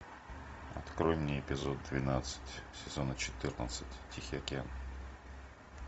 открой мне эпизод двенадцать сезона четырнадцать тихий океан